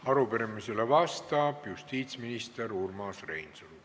Arupärimisele vastab justiitsminister Urmas Reinsalu.